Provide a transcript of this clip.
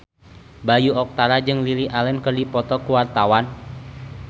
Bayu Octara jeung Lily Allen keur dipoto ku wartawan